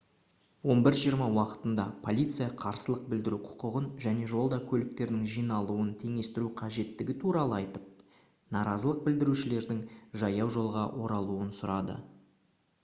11:20 уақытында полиция қарсылық білдіру құқығын және жолда көліктердің жиналуын теңестіру қажеттігі туралы айтып наразылық білдірушілердің жаяужолға оралуын сұрады